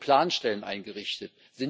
Wurden Planstellen eingerichtet?